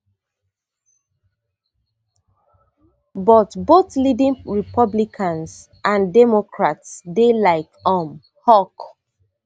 but both leading republicans and democrats dey like um hawk